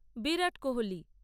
Virat Kohli